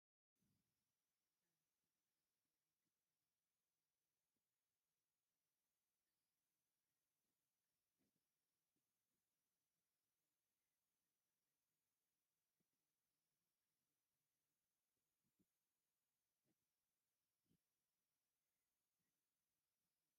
ኣብዚ ክልተ ደቂ ኣንስትዮ ኣብ ውሽጢ ገዛ ኮፍ ኢለን ኣብ ምስራሕ ሸኽላ ተጸሚደን ይርኣያ። ነፍሲወከፈን ድስቲ ኣብ ኢዳ ሒዘን ብጥንቃቐ ይቐርጻ ኣለዋ። እቲ ሃዋህው ቀሊል ዓውደ መጽናዕቲ ይመስል። እዘን ደቂ ኣንስትዮ እንታይ ዓይነት ሸኽላ እየን ዝፈጥራ ዘለዋ?